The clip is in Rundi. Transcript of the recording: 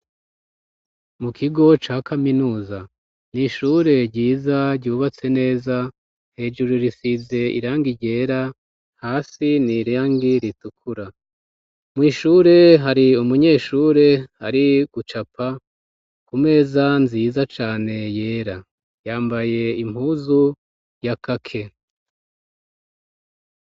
Mu kigo ca kaminuza ni ishure ryiza ryubatse neza hejuru risize iranga ryera hasi niraangi ritukura mw'ishure hari umunyeshure hari gucapa ku meza nziza cane yera yambaye impuzu ya kake.